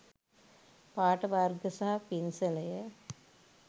පාට වර්ග සහ පින්සලය